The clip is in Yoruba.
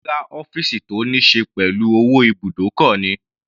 Rárá, ọ́fìsì tó níí ṣe pẹ̀lú owó ibùdókọ̀ ni.